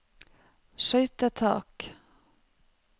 skøytetak